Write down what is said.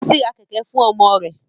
Bísí ra kẹ̀kẹ́ fún ọmọ rẹ̀